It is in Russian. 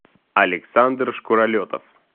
александр шкуролетов